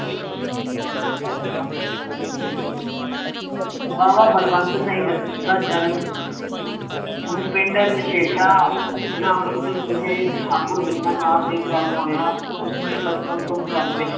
ਬਾਵਾ ਬਲਵੰਤ ਸਿੰਘ ਦਾ ਜਨਮ ਨੂੰ ਪਿੰਡ ਨਸ਼ੇਠਾ ਜ਼ਿਲ੍ਹਾ ਅੰਮ੍ਰਿਤਸਰ ਵਿਖੇ ਠਾਕੁਰ ਦੀਨਾਨਾਥ ਦੇ ਘਰ ਹੋਇਆ, ਉਸਨੇੇ ਬਚਪਨ ਤੋਂ ਘਰ ਵਿੱਚ,